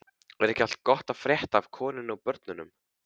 Er ekki allt gott að frétta af konunni og börnunum?